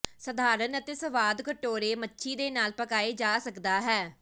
ਸਧਾਰਨ ਅਤੇ ਸਵਾਦ ਕਟੋਰੇ ਮੱਛੀ ਦੇ ਨਾਲ ਪਕਾਏ ਜਾ ਸਕਦਾ ਹੈ